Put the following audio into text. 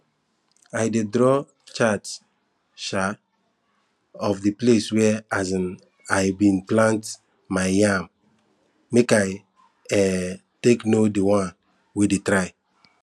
i dey draw chart um of di place where um i bin plant my yam make i um take know di one wey dey try